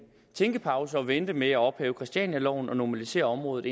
tænkepause og vente med at ophæve christianialoven og normalisere området